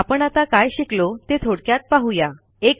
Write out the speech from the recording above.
आपण आता काय शिकलो ते थोडक्यात पाहू या